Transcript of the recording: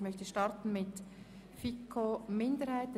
Ich möchte mit dem Abänderungsantrag 2 der FiKo-Minderheit starten.